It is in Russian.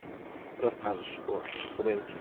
расскажешь вот куда идти